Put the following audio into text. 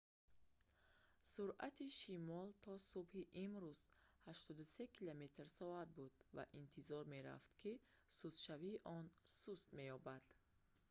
суръати шамол то субҳи имрӯз 83 км/с буд ва интизор мерафт ки сустшавии он суст меёбад